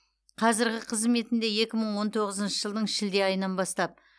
қазіргі қызметінде екі мың он тоғызыншы жылдың шілде айынан бастап